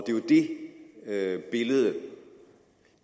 det er jo det billede